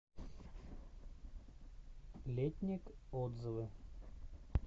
летник отзывы